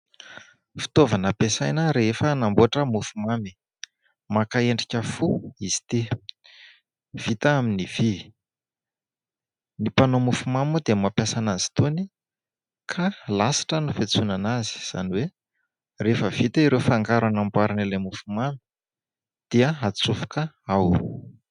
Fitaovana ampiasaina rehefa manamboatra mofomamy, maka endrika fo izy ity, vita amin'ny vy. Ny mpanao mofomamy moa dia mampiasa anazy itony ka lasitra no fiantsoana azy izany hoe rehefa vita ireo fangaro anamboarana ilay mofomamy dia atsofoka ao.